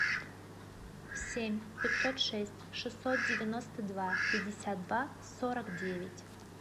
семь пятьсот шесть шестьсот девяносто два пятьдесят два сорок девять